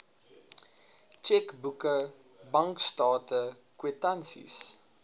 tjekboeke bankstate kwitansies